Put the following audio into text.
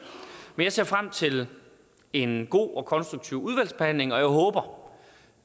men jeg ser frem til en god og konstruktiv udvalgsbehandling og jeg håber